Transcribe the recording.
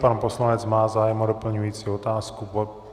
Pan poslanec má zájem o doplňující otázku.